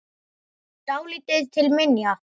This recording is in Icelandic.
Dálítið til minja.